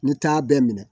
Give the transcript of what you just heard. N'i taa bɛ minɛ